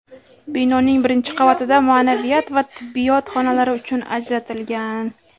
Binoning birinchi qavatida ma’naviyat va tibbiyot xonalari uchun ajratilgan.